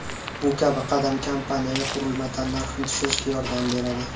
Bu kabi qadam kompaniyaga qurilma tannarxini tushirishga yordam beradi.